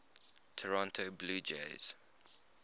toronto blue jays